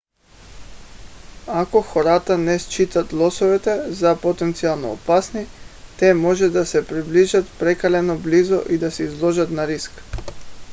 ако хората не считат лосовете за потенциално опасни те може да се приближат прекалено близо и да се изложат на риск